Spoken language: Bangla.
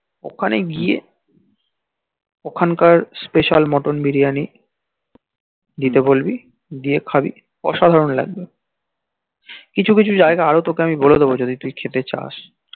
অখানে গিয়ে অখানে কার special মটন বিরিয়ানি দিতে বলবি দিয়ে খাবি অসাধারন লাগবে কিছু কিছু জাইগা আরও টক আমি বলে দেব যদি তুই খেতে চাস